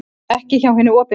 Ekki hjá hinu opinbera.